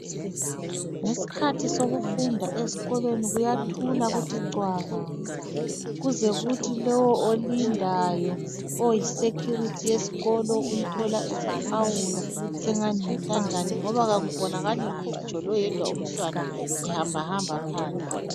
Ngesikhathi sokufunda esikolweni kuyathula kuthi cwaka. Kuze kuthi lo olindayo oyi security yesikolo umthola esehawula esengani yintandane ngoba akubonakali ngitsho loyedwa umntwana ehambahamba phandle.